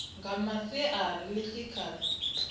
nga masiari ḽi tshi kha